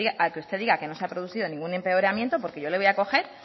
a que usted diga que no se ha producido ningún empeoramiento porque yo le voy a coger